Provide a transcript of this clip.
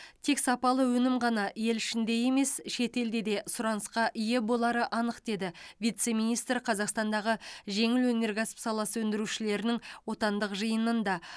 тек сапалы өнім ғана ел ішінде емес шетелде де сұранысқа ие болары анық деді вице министр қазақстандағы жеңіл өнеркәсіп саласы өндірушілерінің отандық жиынында